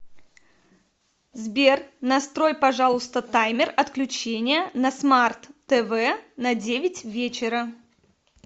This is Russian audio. сбер настрой пожалуйста таймер отключения на смарт тв на девять вечера